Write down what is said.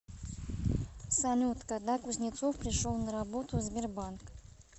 салют когда кузнецов пришел на работу в сбербанк